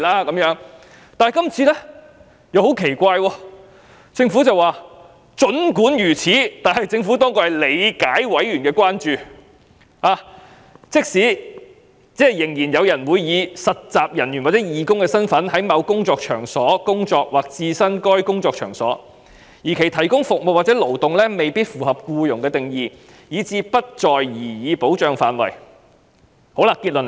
然而，今次很奇怪，政府竟說"儘管如此，政府當局理解委員的關注，即仍然有人會以實習人員或義工的身份在某工作場所工作或置身該工作場所，而其提供服務或勞動未必符合僱用的定義，以致不在擬議保障範圍之內。